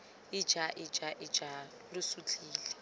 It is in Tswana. ija ija ija lo sutlhile